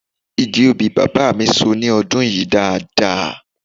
Igi obì bàbá mi so ní ọdún yìí dáadáa